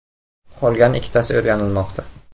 Qolgan ikkitasi o‘rganilmoqda.